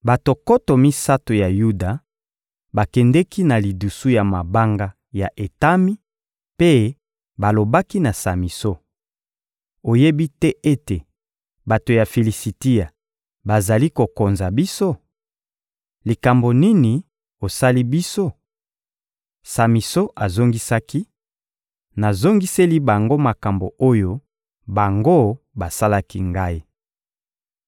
Bato nkoto misato ya Yuda bakendeki na lidusu ya mabanga ya Etami, mpe balobaki na Samison: — Oyebi te ete bato ya Filisitia bazali kokonza biso? Likambo nini osali biso? Samison azongisaki: — Nazongiseli bango makambo oyo bango basalaki ngai.